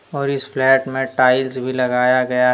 और इस फ्लैट में टाइल्स भी लगाया गया --